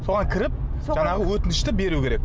соған кіріп жаңағы өтінішті беру керек